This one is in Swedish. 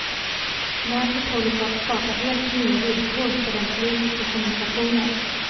Nätet håller på att skapa helt nya villkor för den politiska kommunikationen.